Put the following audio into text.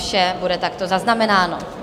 Vše bude takto zaznamenáno.